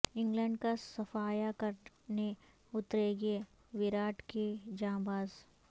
England کا صفایا کر نے اتریںگے وراٹ کے جاں باز